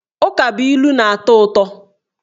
Ukabụilu na-atọ ụtọ